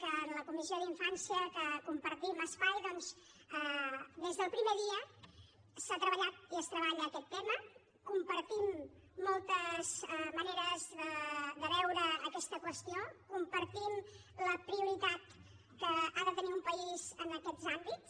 que en la comissió d’infància que compartim espai doncs des del primer dia s’ha treballat i es treballa aquest tema compartim moltes maneres de veure aquesta qüestió compartim la prioritat que ha de tenir un país en aquests àmbits